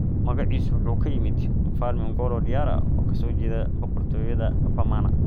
Magaciisu wuxuu ka yimid Mfalme Ngolo Diarra oo ka soo jeeda boqortooyada Bamana.